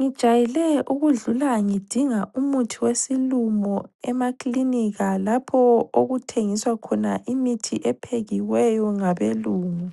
Ngejayele ukudlula ngidinga umuthi wesilumo emaklinika lapho okuthengiswa khona imithi ephekiweyo ngabelungu.